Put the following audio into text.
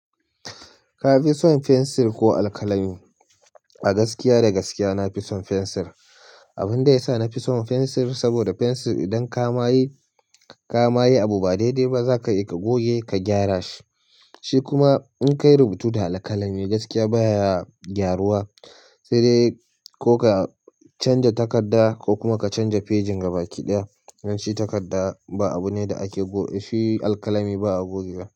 Ka fison fensir ko alkalami a gaskiya da gaskiya na fison fensir. Abunda yasa nafi son fensir saboda fensir idan ka ma yi ka ma yi abu ba daidai zaka iya ka goge ka gyara shi, shi kuma in ka yi rubutu da alkalami gaskiya baya gyaruwa sai dai ko ka canza takarda ko kuma ka canza fejin gabaki ɗaya. Dan shi takarda ba abu ne da ake goge shi alkalami ba a goge wa.